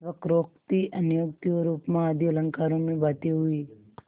वक्रोक्ति अन्योक्ति और उपमा आदि अलंकारों में बातें हुईं